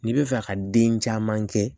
N'i bɛ fɛ ka den caman kɛ